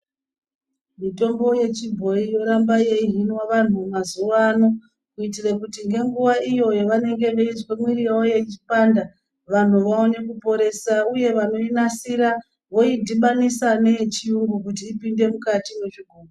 Mitombo yechibhoyi yoramba yeihinwa vanhuu mazuwano kuitire kuti ngenguwa iyo yavanenge veizwa mwiri yawo kupanda vanhu vaone kuporesa uye vanoinasira yodhibaniswa neyechiyungu kuti ipinde mukati mwezvigubhu.